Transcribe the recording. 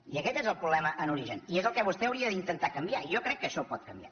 i aquest és el problema en origen i és el que vostè hauria d’intentar canviar jo crec que això ho pot canviar